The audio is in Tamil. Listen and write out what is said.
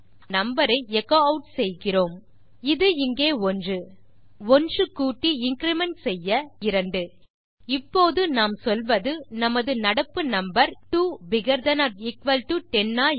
நாம் அதை 1 கூட்டி இன்கிரிமெண்ட் செய்ய இப்போது அது 2 இப்போது நாம் சொல்வது நடப்பு number 2 bigger than or equal to 10 ah